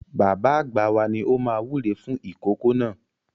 Bàbá àgbà wa ni ó máa wúre fún ìkòkò náà.